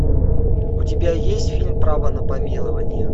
у тебя есть фильм право на помилование